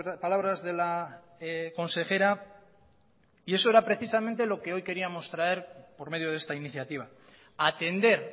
palabras de la consejera y eso era precisamente lo que hoy queríamos traer por medio de esta iniciativa atender